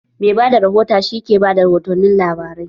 Mai bada rihota shi ke bada rihotun labarai